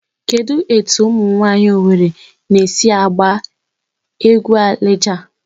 Kedụ etu umụ nwaanyị Owere na-esi agba egwu Alija?